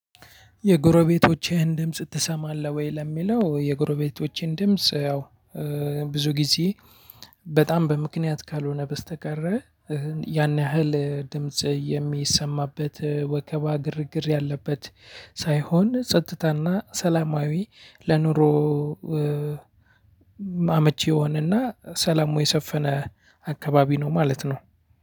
የጎረቤቶችህን ድምጽ ትሰማለህ ወይ ለሚለው? የጎረቤቶቼን ድምጽ ያው ብዙ ጊዜ በጣም በምክንያት ካልሆነ በስተቀር ያን ያህል ድምጽ የሚሰማበት ወከባ ግርግር ያለበት ሳይሆን ጸጥታና ሰላማዊ ለኑሮ አመቺ የሆነና ሰላሙ የሰፈነ አካባቢ ነው ማለት ነው።